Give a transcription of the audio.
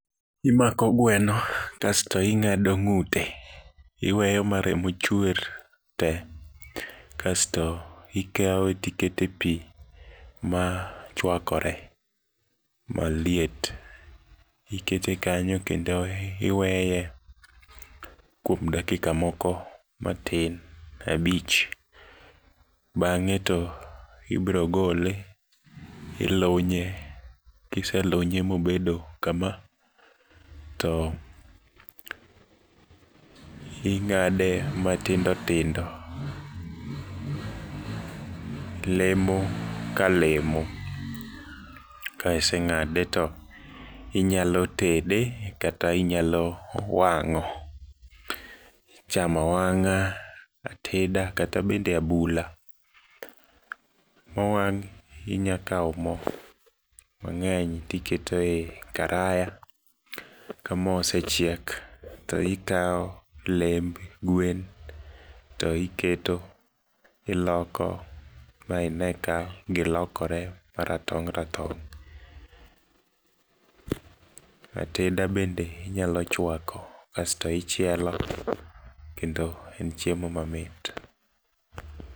Imako gweno kasto ing'ado ng'ute, iweyo maremo chuer te. Kasto ikawe tikete pii machuakore maliet, ikete kanyo kendo iweye kuom dakika moko matin abich. Bang'e to ibirogole ilunye kiselunye mobedo kama, to ing'ade matindo tindo. Lemo kalemo, kaiseng'ade to inyalo tede kata inyalo wang'o. Chamo awang'a, adeta kata bede abula. Mowang' inyakao mo mang'eny tiketo ei karaya, kamo osechiek toikao lemb gwen to iketo iloko maine ka gilokore maratong' ratong'. Ateda bende inyalo chuako asto ichielo, kendo en chiemo mamit.